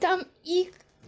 там и